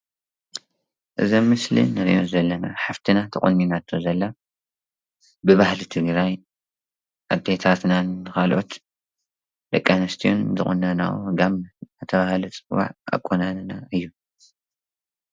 እዚ ኣብ ምስል ንርኦ ዘለና ሃፍትና ተቆኒናቶ ዘላ ብባሃሊ ትግራይ ኣዴታትናን ብካልኦት ደቂ ኣንስትዮ ዝቁነኖኦን ጋም እደተበሃል ዝፅዋዕ ኣቆናኒና እዩ።